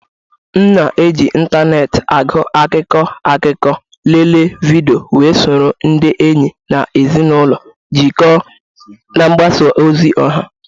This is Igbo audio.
M na-eji ịntanetị agụ akụkọ akụkọ, lelee vidiyo, wee soro ndị enyi na ezinụlọ jikọọ na mgbasa ozi ọha.